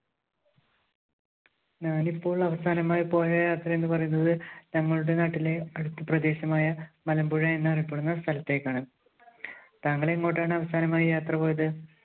ഞാനിപ്പോൾ അവസാനമായി പോയ യാത്ര എന്നു പറയുന്നത് ഞങ്ങളുടെ നാട്ടിലെ അടുത്ത പ്രദേശമായ മലമ്പുഴ എന്നറിയപ്പെടുന്ന സ്ഥലത്തേക്കാണ്. താങ്കൾ എങ്ങോട്ടാണ് അവസാനമായി യാത്ര പോയത്?